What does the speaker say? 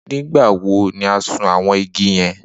Nigbawo ni a sun awọn igi yẹn?